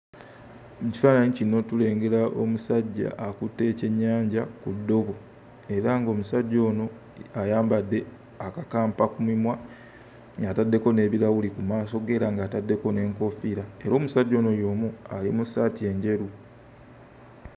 Mu kifaananyi kino tulengera omusajja akutte ekyennyanja ku ddobo era ng'omusajja ono ayambadde akakampa ku mimwa ng'ataddeko n'ebirawuli ku maaso ge era ng'ataddeko n'enkoofiira era omusajja ono y'omu ali mu ssaati enjeru.